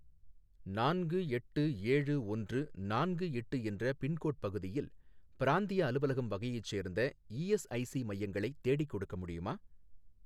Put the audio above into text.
நான்கு எட்டு ஏழு ஒன்று நான்கு எட்டு என்ற பின்கோட் பகுதியில் பிராந்திய அலுவலகம் வகையைச் சேர்ந்த இஎஸ்ஐசி மையங்களை தேடிக்கொடுக்க முடியுமா?